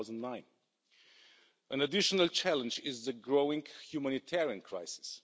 2009. An additional challenge is the growing humanitarian crisis.